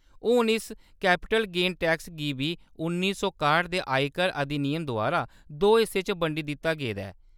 हून, इस capital gain tax गी बी उन्नी सौ काह्ट दे आयकर अधिनियम द्वारा दो हिस्सें च बंडी दित्ता गेदा ऐ।